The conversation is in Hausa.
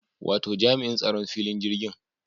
Wato jami'in tsaron filin jirgin